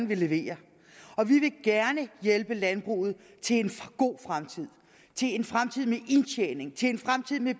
vil levere og vi vil gerne hjælpe landbruget til en god fremtid til en fremtid med indtjening til en fremtid med